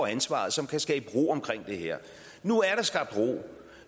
ansvaret som kunne skabe ro omkring det her nu er der skabt ro